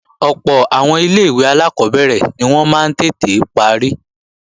Ọ̀pọ̀ àwọn ilé-ìwé alákọ́bẹ̀rẹ̀ ni wọ́n máa ń tètè parí